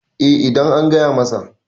eh idan an gaya masa